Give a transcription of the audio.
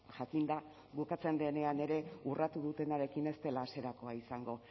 jakinda bukatzen denean ere urratu dutenarekin ez dela hasierakoa izango